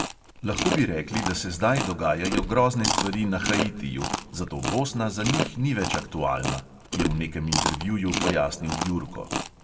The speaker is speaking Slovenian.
"Lahko bi rekli, da se zdaj dogajajo grozne stvari na haitiju, zato bosna za njih ni več aktualna," je v nekem intervjuju pojasnil jurko.